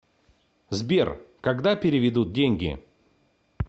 сбер когда переведут деньги